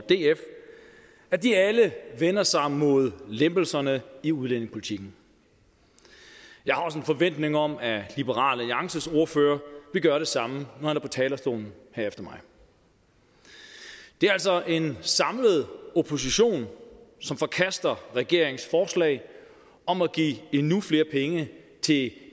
df at de alle vender sig mod lempelserne i udlændingepolitikken jeg har også en forventning om at liberal alliances ordfører vil gøre det samme når han er på talerstolen her efter mig det er altså en samlet opposition som forkaster regeringens forslag om at give endnu flere penge til